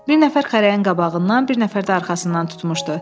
Bir nəfər xərəyin qabağından, bir nəfər də arxasından tutmuşdu.